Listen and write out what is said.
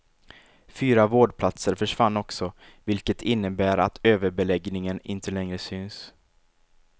Fyra vårdplatser försvann också, vilket innebär att överbeläggningen inte längre syns.